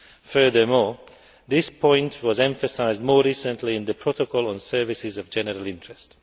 Furthermore, this point was emphasised more recently in the Protocol on Services of General Interest.